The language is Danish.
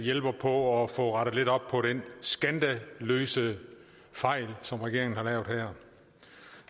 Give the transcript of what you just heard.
hjælper på at få rettet lidt op på den skandaløse fejl som regeringen har lavet her